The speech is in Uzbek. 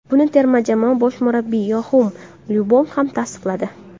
Buni terma jamoa bosh murabbiyi Yoaxim Lyov ham tasdiqladi.